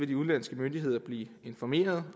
de udenlandske myndigheder vil blive informeret